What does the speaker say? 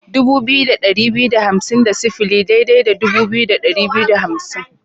Dubu biyu da ɗari biyu da hamsin da sifili daidai da dubu biyu da ɗari biyu da hamsin.